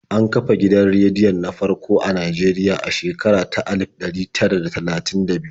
An kafa gidan rediyon na farko a Najeriya a shekara ta alif ɗari tara da talatin da biyu.